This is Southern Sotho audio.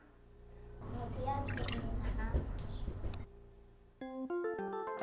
motho ya tjhonneng ha a